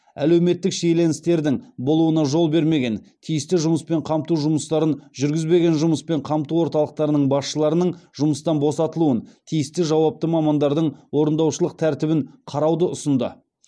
әлеуметтік шиеленістердің болуына жол бермеген тиісті жұмыспен қамту жұмыстарын жүргізбеген жұмыспен қамту орталықтарының басшыларының жұмыстан босатылуын тиісті жауапты мамандардың орындаушылық тәртібін қарауды ұсынды